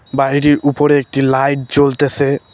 বাইরে উপরে একটি লাইট জ্বলতেছে।